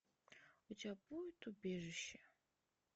у тебя будет убежище